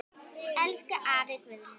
Elsku afi Guðni.